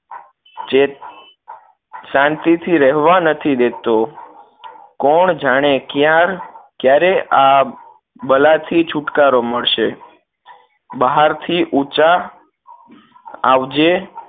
જે શાંતિથી રહેવા નથી દેતો કોણ જાણે કયાર ક્યારે આ બલા થી છુટકારો મળશે બહાર થી ઊંચા આવજે